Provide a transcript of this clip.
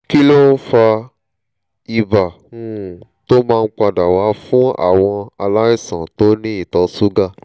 kí ló fa ibà um tó máa ń padà wá fúnàwọn aláìsàn tó ní ìtọ ṣúgà?